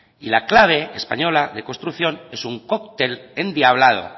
y la clave española de construcción es un coctel endiablado